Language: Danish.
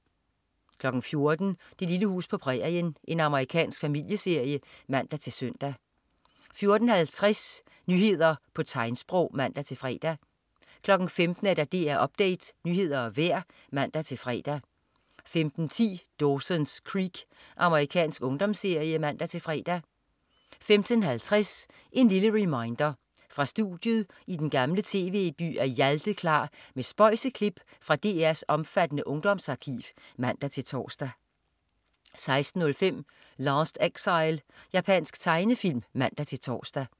14.00 Det lille hus på prærien. Amerikansk familieserie (man-søn) 14.50 Nyheder på tegnsprog (man-fre) 15.00 DR Update. Nyheder og vejr (man-fre) 15.10 Dawson's Creek. Amerikansk ungdomsserie (man-fre) 15.50 En lille reminder. Fra studiet i den gamle Tv-by er Hjalte klar med spøjse klip fra DR's omfattende ungdomsarkiv (man-tors) 16.05 Last Exile. Japansk tegnefilm (man-tors)